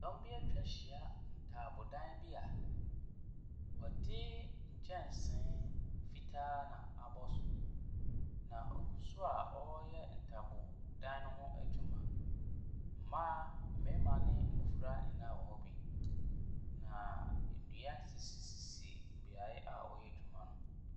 Dɔm bi atwa ahyia ntaabodan bi a wɔde nkyensee fitaa na abɔ so Na wɔgu so a wɔreyɛ ntaabodan no ho adwuma. Mmaa, mmarima ne mmofra nyinaa wɔ hɔ bi. Nnua sisi bea a wɔreyɛ adwuma no.